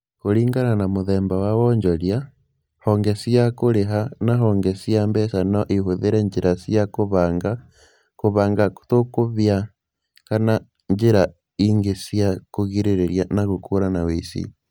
Kũringana na mũthemba wa wonjoria, honge cia kũrĩha na honge cia mbeca no ihũthĩre njĩra cia kũbanga, kũbanga tũkũbia, kana njĩra ingĩ cia kũgirĩrĩria na gũkũũrana ũici.